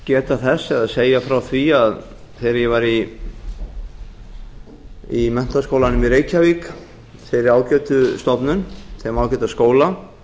geta þess eða segja frá því að þegar ég var í menntaskólanum í reykjavík þeirri ágætu stofnun þeim ágæta skóla